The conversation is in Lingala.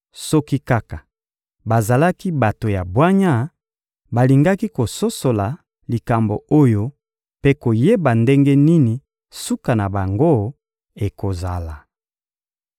Soki kaka bazalaki bato ya bwanya, balingaki kososola likambo oyo mpe koyeba ndenge nini suka na bango ekozala!